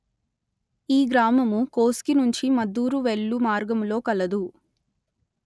ఈ గ్రామము కోస్గి నుంచి మద్దూరు వెళ్ళు మార్గములో కలదు